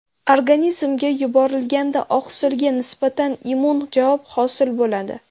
Organizmga yuborilganda oqsilga nisbatan immun javob hosil bo‘ladi.